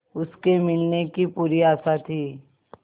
उसके मिलने की पूरी आशा थी